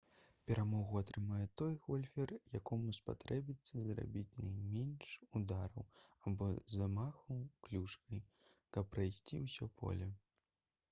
перамогу атрымае той гольфер якому спатрэбіцца зрабіць найменш удараў або замахаў клюшкай каб прайсці ўсё поле